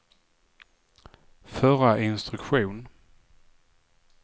förra instruktion